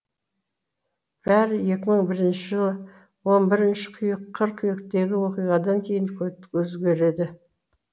бәрі екі мың бірінші жылғы он бірінші қыркүйектегі оқиғадан кейін өзгереді